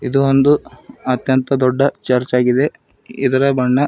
ಇದು ಒಂದು ಅತ್ಯಂತ ದೊಡ್ಡ ಚರ್ಚಾಗಿದೆ ಇದರ ಬಣ್ಣ--